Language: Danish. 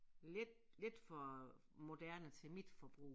Lidt lidt for moderne til mit forbrug